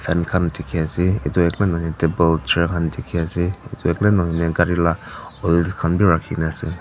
fan khan dikhiase edu akela nahoi na table chair han dikhiase edu akela nahoi na gari la oils khan bi rakhina ase.